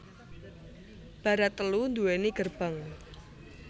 Barat telu duwéni gerbang